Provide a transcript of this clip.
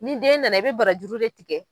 Ni den nana i bɛ barajuru de tigɛ